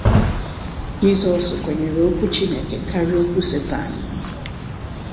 Jisọs kwenyere Okwu Chineke karịa Okwu Satani.